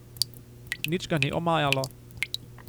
Nič ga ni omajalo.